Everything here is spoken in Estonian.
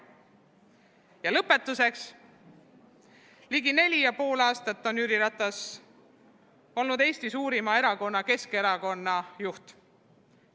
Ja lõpetuseks: ligi 4,5 aastat on Jüri Ratas olnud Eesti suurima erakonna, Keskerakonna juht.